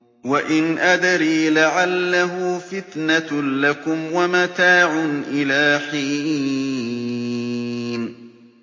وَإِنْ أَدْرِي لَعَلَّهُ فِتْنَةٌ لَّكُمْ وَمَتَاعٌ إِلَىٰ حِينٍ